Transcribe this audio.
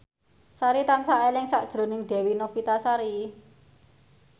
Sari tansah eling sakjroning Dewi Novitasari